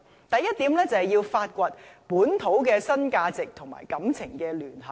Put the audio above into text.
第一，要發掘本土的新價值與情感聯繫。